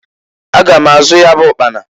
Aga m azụ ya bụ ụkpana.